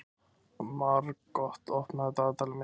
Margot, opnaðu dagatalið mitt.